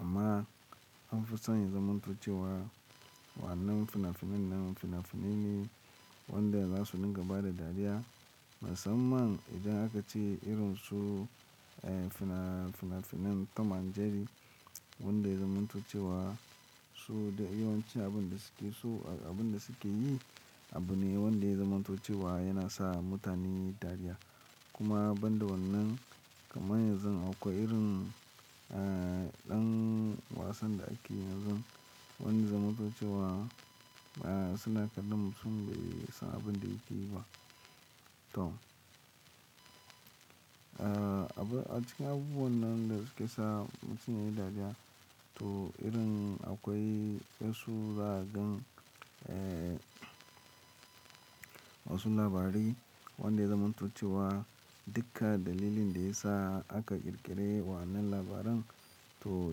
amma an fi son ya zamanto cewa wannan fina-finan nan fina-finai ne wanda za su dinga ba da dariya. Musamman idan aka ce irin su, fina-finan tam and jerry wanda ya zamanto cewa su da yawanci abin da suke so abin da suke yi abu ne wanda ya zanmanto cewa yana sa mutane yi dariya. Kuma banda wannan kamar yanzu akwai irin, eh ɗan wasan da ake yi yanzu wanda ya zamanto cewa suna faɗan mutum bai san abin da yake yi ba. To a cikin abubuwan da suke sa mutun yayi dariya, akwai wasu zaka gan wasu labari wanda ya zamanto cewa duka dalilin da ya sa aka ƙirƙire wannan labaran to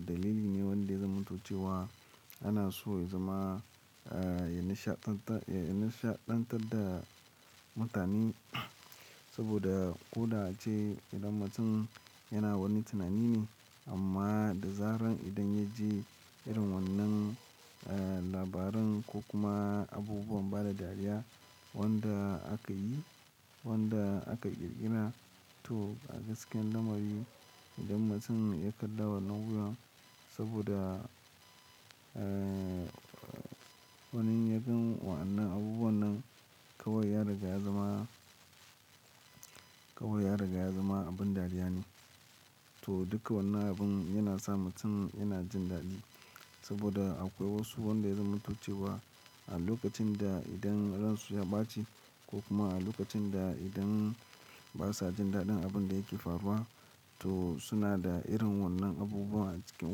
dalili ne wanda ya zamanto cewa ana so ya zama-- ya nishaɗan ta, ya nishaɗantar da mutane. Wanda koda ace mutun yana wani tunani ne, amma da zaran idan ya ji irin wannan labaran ko kuma abubuwan bada dariya wanda aka yi, wanda aka ƙirƙira to a gaskiyan lamari idan mutum ya kalla wannan wurin. Saboda wani in yaga wayannan abubuwan nan kawai ya riga ya zama, kawai ya riga ya zama abin dariya ne. To duka wannan abun yana sa mutum yana jin daɗi. Saboda akwai wasu wanda ya zamato cewa a lokacin da idan ransu ya baci ko kuma a lokacin da basu jin dadin abunda yake fariwa to suna da irin wannan abubuwa a cikin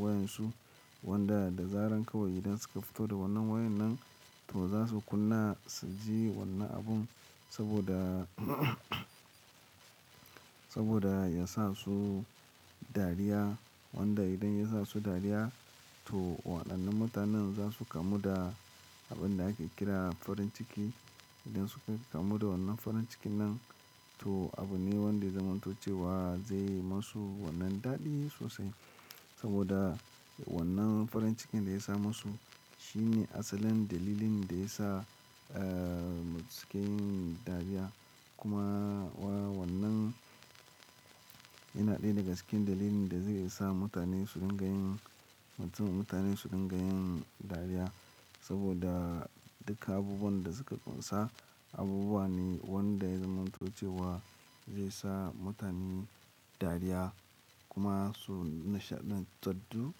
wayansu wanda da zaran kawai idan suka fito da wannan wayan nan to za su kunna su ji wannan abun. Saboda, saboda ya sa su dariya wanda idan ya sa su dariya to waɗannan mutanen za su kamu da abin da ake kira farin ciki. Idan suka kamu da wannan farin cikin nan to abu ne wanda ya zamanto cewa zai yi masu wannan daɗi sosai. Saboda wannan farin cikin da ya sa masu shine asalin dalilin da ya sa mutum suke yin dariya. Kuma wa wannan yana ɗaya daga cikin dalilin da zai sa mutane su dinga yin, mutum-- mutane su dinga yin dariya. Saboda duka abubuwan da suka ƙunsa abubuwa ne wanda ya zamanto cewa zai sa mutane dariya kuma su nishaɗantarty da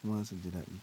kuma su ji daɗi.